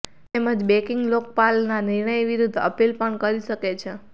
તેમજ બેંકિંગ લોકપાલના નિર્ણય વિરુદ્ધ અપીલ પણ કરી શકે છે